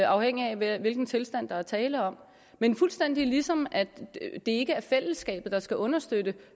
afhængig af hvilken tilstand der er tale om men fuldstændig ligesom det ikke er fællesskabet der skal understøtte